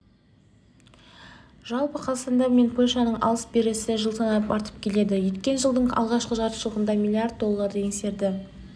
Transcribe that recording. жалпы қазақстан мен польшаның алыс-берісі жыл санап артып келеді өткен жылдың алғашқы жартыжылдығында млрд долларды еңсерді